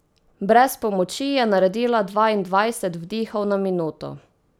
Brez pomoči je naredila dvaindvajset vdihov na minuto.